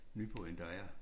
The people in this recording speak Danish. Nyborg end der er